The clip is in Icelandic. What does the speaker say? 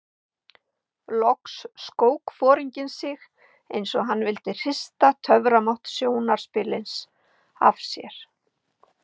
Loks skók foringinn sig eins og hann vildi hrista töframátt sjónarspilsins af sér.